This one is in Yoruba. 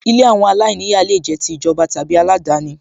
Ilé àwọn aláìníyàá lè jẹ́ ti ìjọba tàbí aládani